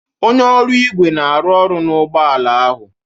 Onye ọrụ igwe na-arụ ọrụ na ụgbọ ala ahụ